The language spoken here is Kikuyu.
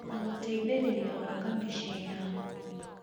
na gũteithĩrĩria gwaka mĩciĩ yao.